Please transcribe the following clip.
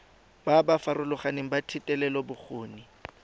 ba ba farologaneng ba thetelelobokgoni